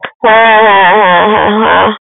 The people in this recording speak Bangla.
হ্যাঁ, হ্যাঁ, হ্যাঁ, হ্যাঁ, হ্যাঁ।